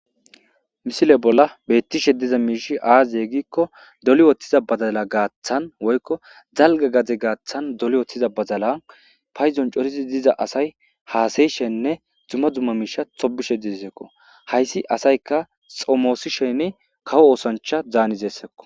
Misile bolla beettishe diza miish aazaye gikko doli woththiza badala gaaththan woykko zalga gade gaaththan dole woththiza bazalan payzon corizi diza asay haasayishenne dzuma dzumma miisha tobishe disekko hayssi asayka xomoosi sheni kawo oosancha zaanizeesseko.